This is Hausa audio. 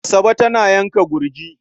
Asabe tana yanka gurjin.